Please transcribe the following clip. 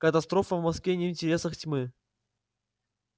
катастрофа в москве не в интересах тьмы